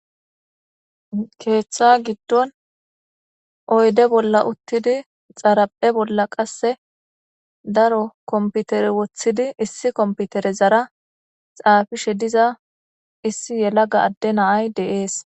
keeththa giddon oyde bolla uttidi xaraphe bolla qasse daro komputere woththidi issi komputere zara xaafishe diza issi yelaga adde naay deees